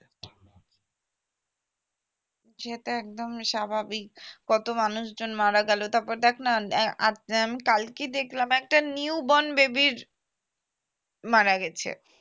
সে তো একদম স্বাভাবিক কত মানুষজন মারা গেল তারপর দেখনা উম কালকেই দেখলাম একটা newborn baby এর মারা গেছে